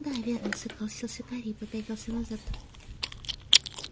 да верно согласился гарри и попятился назад